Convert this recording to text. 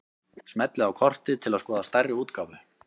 Smellið á kortið til að skoða stærri útgáfu.